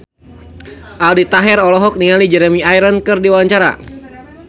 Aldi Taher olohok ningali Jeremy Irons keur diwawancara